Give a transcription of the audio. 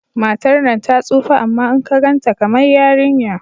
Matar nan ta tsufa amma in ka ganta kamar yarinya